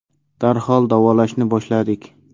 Darhol davolashni boshladik.